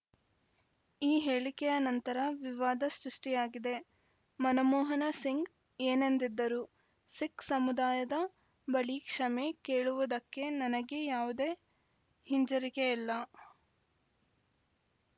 ಈ ಹೇಳಿಕೆಯ ನಂತರ ವಿವಾದ ಸೃಷ್ಟಿಯಾಗಿದೆ ಮನಮೋಹನ ಸಿಂಗ್‌ ಏನಂದಿದ್ದರು ಸಿಖ್‌ ಸಮುದಾಯದ ಬಳಿ ಕ್ಷಮೆ ಕೇಳುವುದಕ್ಕೆ ನನಗೆ ಯಾವುದೇ ಹಿಂಜರಿಕೆಯಲ್ಲ